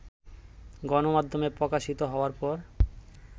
গণমাধ্যমে প্রকাশিত হওয়ার পর